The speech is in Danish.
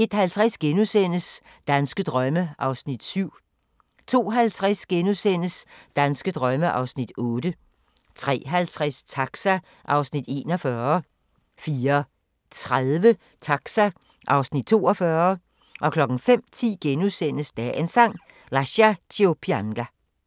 01:50: Danske drømme (7:10)* 02:50: Danske drømme (8:10)* 03:50: Taxa (Afs. 41) 04:30: Taxa (Afs. 42) 05:10: Dagens Sang: Lascia ch'io pianga *